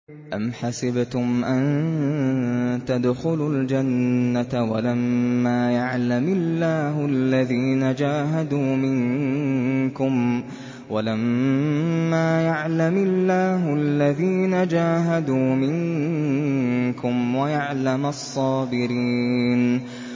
أَمْ حَسِبْتُمْ أَن تَدْخُلُوا الْجَنَّةَ وَلَمَّا يَعْلَمِ اللَّهُ الَّذِينَ جَاهَدُوا مِنكُمْ وَيَعْلَمَ الصَّابِرِينَ